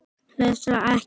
Helst ekki.